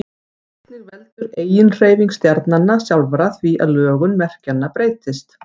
einnig veldur eiginhreyfing stjarnanna sjálfra því að lögun merkjanna breytist